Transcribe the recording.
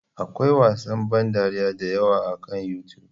Akwai wasan ban dariya da yawa akan YouTube.